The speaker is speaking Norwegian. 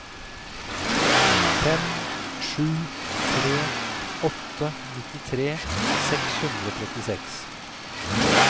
fem sju tre åtte nittitre seks hundre og trettiseks